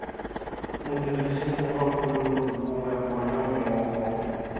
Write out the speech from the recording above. modirisi mogakolodi gongwe bona mmogo